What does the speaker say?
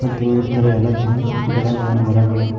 ಮತ್ ಇನ್ನಿತರ ಎಲ್ಲಾತರ ಗಿಡಗಳು ಮರಗಳು--